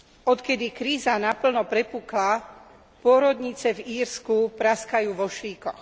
Odkedy kríza naplno prepukla, pôrodnice v Írsku praskajú vo švíkoch.